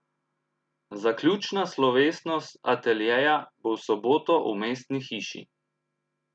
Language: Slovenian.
Zaključna slovesnost ateljeja bo v soboto v Mestni hiši.